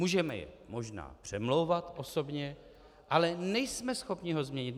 Můžeme je možná přemlouvat osobně, ale nejsme schopni ho změnit.